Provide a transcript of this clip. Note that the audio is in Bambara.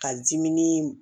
Ka dimin